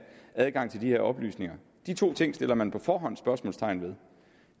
adgang til de her oplysninger de to ting sætter man på forhånd spørgsmålstegn ved